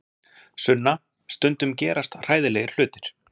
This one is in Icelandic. Sunna, stundum gerast hræðilegir hlutir.